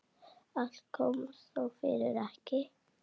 Allt kom þó fyrir ekki.